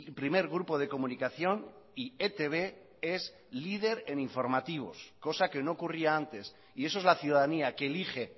primer grupo de comunicación y etb es líder en informativos cosa que no ocurría antes y eso es la ciudadanía que elige